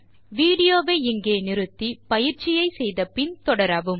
video வை நிறுத்தி பயிற்சியை முடித்த பின் தொடரவும்